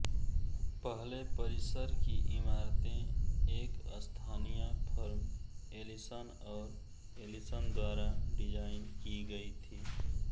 पहले परिसर की इमारतें एक स्थानीय फर्म एलीसन और एलीसन द्वारा डिजाइन की गयी थी